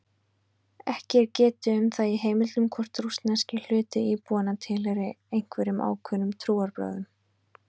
Ekki er getið um það í heimildum hvort rússneski hluti íbúanna tilheyrir einhverjum ákveðnum trúarbrögðum.